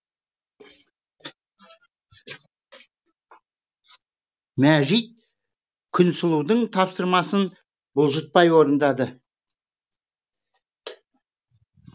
мәжит күнсұлудың тапсырмасын бұлжытпай орындады